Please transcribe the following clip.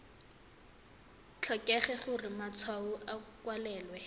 tlhokege gore matshwao a kwalwe